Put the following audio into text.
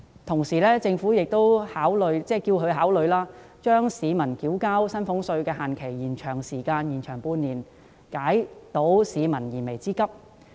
此外，我亦希望政府考慮延長市民繳交薪俸稅的限期半年，以解市民的燃眉之急。